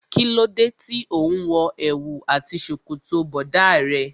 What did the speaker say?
Kí ló dé tí òun wo èwù àti ṣòkòtò bọ̀dá rẹ.